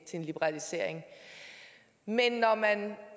en liberalisering men når man